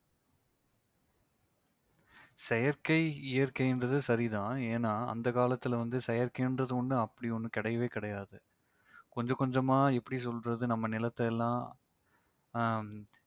செயற்கை இயற்கைன்றது சரிதான் ஏன்னா அந்த காலத்தில வந்து செயற்கையென்றது ஒண்ணு அப்படி ஒண்ணு கிடையவே கிடையாது. கொஞ்ச கொஞ்சமா எப்படி சொல்றது நம்ம நிலத்தையெல்லாம் அஹ்